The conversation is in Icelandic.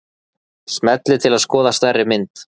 Smellið til að skoða stærri mynd.